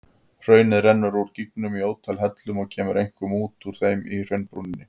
Hraunið rennur úr gígnum í ótal hellum og kemur einkum út úr þeim í hraunbrúninni.